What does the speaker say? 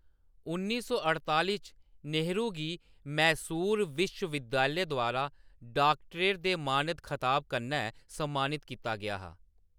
उन्नी सौ अड़ताली च, नेहरू गी मैसूर विश्व-विद्यालय द्वारा डाक्टरेट दे मानद खताब कन्नै सम्मानित कीता गेआ हा।